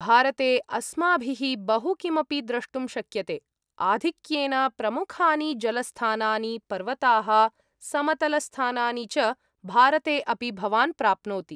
भारते अस्माभिः बहु किमपि द्रष्टुं शक्यते, आधिक्येन प्रमुखानि जलस्थानानि, पर्वताः, समतलस्थानानि च भारते अपि भवान् प्राप्नोति ।